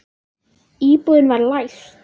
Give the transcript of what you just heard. Íbúðin var læst.